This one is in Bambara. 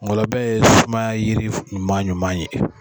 ngɔlɔbɛ ye sumaya yiri ɲuman ɲuman ye